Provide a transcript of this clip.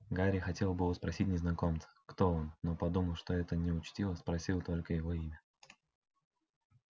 гарри хотел было спросить незнакомца кто он но подумав что это неучтиво спросил только его имя